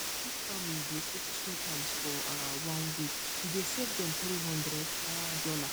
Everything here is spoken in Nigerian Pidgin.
if family dey cook three times for um one weak e dey save them 300 um dollar